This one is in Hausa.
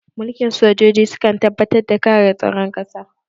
Mulkin sojoji sukan tabbatar da kare tsaron ƙasa